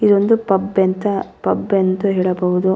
ಇದು ಒಂದು ಪಬ್ ಎಂತ ಪಬ್ ಎಂದು ಹೇಳಬಹುದು.